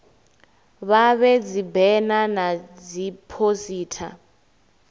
vha vhee dzibena na dziphosita